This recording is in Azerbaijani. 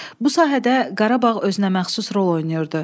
Bu sahədə Qarabağ özünəməxsus rol oynayırdı.